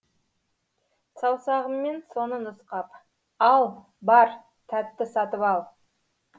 саусағыммен соны нұсқап ал бар тәтті сатып ал